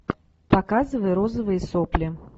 показывай розовые сопли